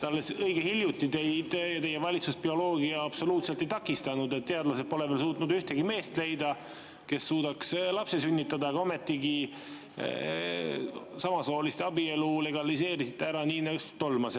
Alles õige hiljuti teid ja teie valitsust bioloogia absoluutselt ei takistanud – teadlased pole veel suutnud leida ühtegi meest, kes suudaks lapse sünnitada, aga ometigi samasooliste abielu legaliseerisite ära, nii et tolmas.